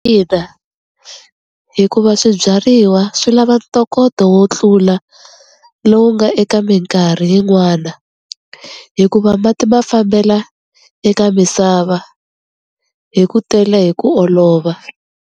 Ina hikuva swibyariwa swi lava ntokoto wo tlula lowu nga eka minkarhi yin'wana hikuva mati ma fambela eka misava hi ku tele hi ku olova.